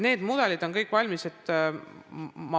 Need mudelid on kõik valmis.